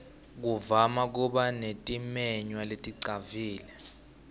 kuvama kuba netimenywa leticavile